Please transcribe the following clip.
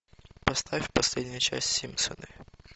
поставь последняя часть симпсоны